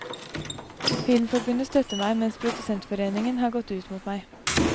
Filmforbundet støtter meg, mens produsentforeningen har gått ut mot meg.